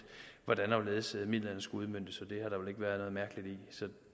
hvordan og hvorledes midlerne skulle udmøntes og